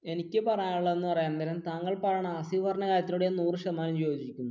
എനിക്ക് പറയാനുള്ളത് എന്ന് പറയാൻ നേരം താങ്കൾ പറഞ്ഞ ഹാസിഫ് പറഞ്ഞ കാര്യത്തിനോട് ഞാൻ നൂർ ശതമാനം യോജിക്കുന്നു.